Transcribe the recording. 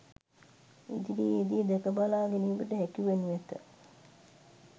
ඉදිරියේදී දැකබලා ගැනීමට හැකි වනු ඇත